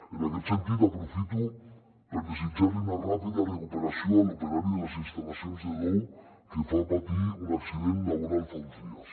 en aquest sentit aprofito per desitjar li una ràpida recuperació a l’operari de les instal·lacions de dow que va patir un accident laboral fa uns dies